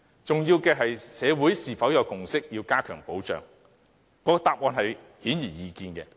重要的是社會是否有共識要加強保障，答案顯而易見。